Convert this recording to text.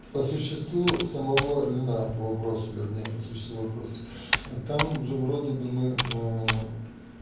по существу самовольно по вопросу вернее по существу вопроса там же вроде бы мы мм